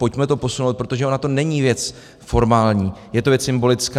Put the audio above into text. Pojďme to posunout, protože ona to není věc formální, je to věc symbolická.